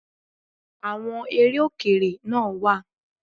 Àwọn eré Òkèrè náà wá